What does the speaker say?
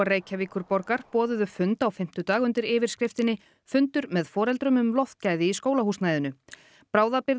Reykjavíkurborgar boðuðu fund á fimmtudag undir yfirskriftinni fundur með foreldrum um loftgæði í skólahúsnæðinu